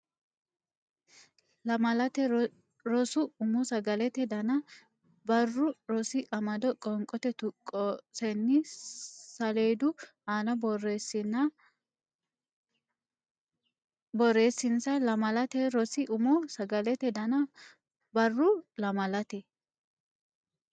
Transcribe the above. Lamalate Rosi Umo Sagalete Dana Barru Rosi Amado Qoonqo tuqqosenni saleedu aana borreessinsa Lamalate Rosi Umo Sagalete Dana Barru Lamalate.